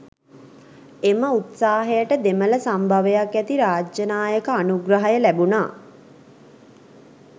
එම උත්සාහයට දෙමළ සම්භවයක් ඇති රාජ්‍යනායක අනුග්‍රහය ලැබුනා